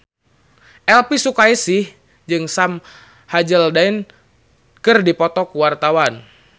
Elvi Sukaesih jeung Sam Hazeldine keur dipoto ku wartawan